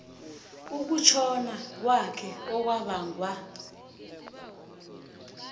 ukutjhona kwakhe okwabangwa